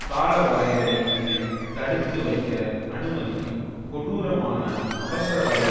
காலவரையறை இன்றி தடுத்து வைக்க அனுமதிக்கும் கொடூரமான அவசரகால